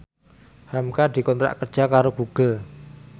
hamka dikontrak kerja karo Google